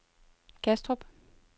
Kastrup